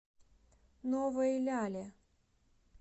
новой ляле